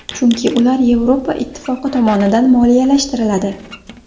Chunki ular Yevropa ittifoqi tomonidan moliyalashtiriladi.